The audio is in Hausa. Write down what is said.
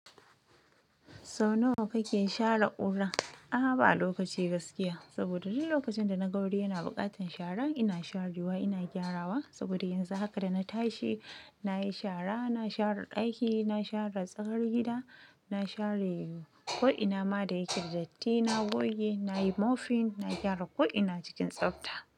Sau nawa kake share ƙura? A'a, ba lokaci gaskiya. Saboda duk lokacin da na ga wuri yana buƙatar shara, ina sharewa, ina gyarawa. Saboda yanzu haka da na tashi, na yi shara, na share ɗaki, na share tsakar gida, na share ko'ina ma da yake da datti, na goge, nayi mopping, na gyara ko'ina cikin tsafta.